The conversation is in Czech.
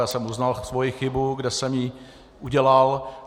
Já jsem uznal svoji chybu, kde jsem ji udělal.